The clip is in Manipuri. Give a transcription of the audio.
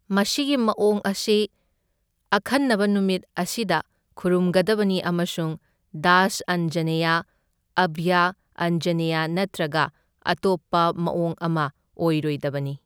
ꯃꯁꯤꯒꯤ ꯃꯑꯣꯡ ꯑꯁꯤ ꯑꯈꯟꯅꯕ ꯅꯨꯃꯤꯠ ꯑꯁꯤꯗ ꯈꯨꯔꯨꯝꯒꯗꯕꯅꯤ ꯑꯃꯁꯨꯡ ꯗꯥꯁ ꯑꯥꯟꯖꯅꯦꯌ, ꯑꯥꯚꯌ ꯑꯥꯟꯖꯅꯦꯌ ꯅꯠꯇ꯭ꯔꯒ ꯑꯇꯣꯞꯄ ꯃꯑꯣꯡ ꯑꯃ ꯑꯣꯏꯔꯣꯏꯗꯕꯅꯤ꯫